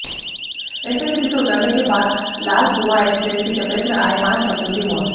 intercity से उतरने के बाद लालकुंआ एक्सप्रेस की चपेट में आए पांच यात्रियों की मौत